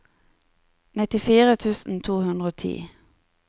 nittifire tusen to hundre og ti